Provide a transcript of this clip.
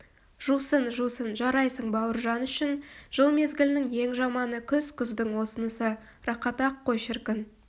жусын жусын жарайсың бауыржан үшін жыл мезгілінің ең жаманы күз күздің осынысы рақат-ақ қой шіркін